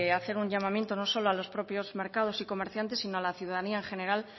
hacer un llamamiento no solo a los propios mercados y comerciantes sino a la ciudadanía en general